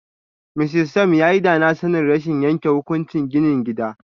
Mr Sam yayi danasanin rashin yanke hukunci gini gida.